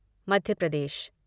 Madhya Pradesh